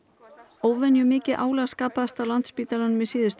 óvenjumikið álag skapaðist á Landspítalanum í síðustu